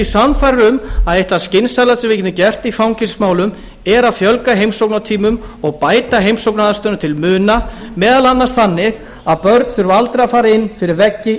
sannfærður um að eitt það skynsamlegasta sem við getum gert í fangelsismálum er að fjölga heimsóknartímum og bæta heimsóknaraðstöðuna til muna meðal annars þannig að börn þurfi aldrei að fara á fyrir veggi